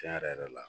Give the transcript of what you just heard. Tiɲɛ yɛrɛ yɛrɛ la